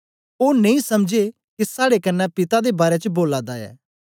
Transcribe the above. ओ नेई समझे के साड़े कन्ने पिता दे बारै च बोला दा ऐ